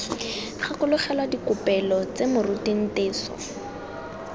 gakologelwa dikopelo tse moruti nteso